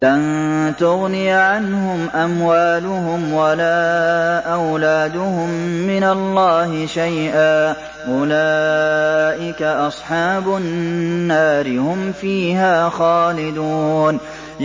لَّن تُغْنِيَ عَنْهُمْ أَمْوَالُهُمْ وَلَا أَوْلَادُهُم مِّنَ اللَّهِ شَيْئًا ۚ أُولَٰئِكَ أَصْحَابُ النَّارِ ۖ هُمْ فِيهَا خَالِدُونَ